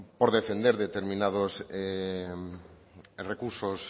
por defender determinados recursos